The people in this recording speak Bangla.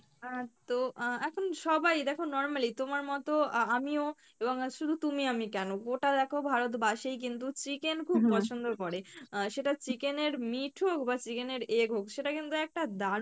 আহ তো আহ এখন সবাই দেখো normally তোমার মত আ~আমি ও এবং শুধু তুমি আমি কেনো গোটা দেখো ভারতবাসিই কিন্তু chicken খুব পছন্দ করে আহ সেটা chicken এর meat হোক বা chicken এর egg হোক সেটা কিন্তু একটা দারুন